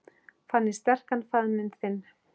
Fann ég sterkan faðminn þinn.